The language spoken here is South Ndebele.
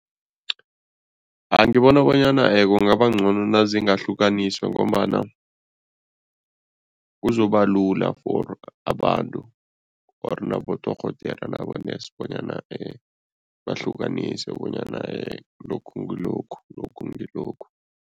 Ngibona bonyana kungaba ngcono nazingahlukaniswa ngombana kuzoba lula for abantu or nabodorhodere nabo-nurse bonyana bahlukanise bonyana lokhu ngilokhu, lokhu ngilokhu.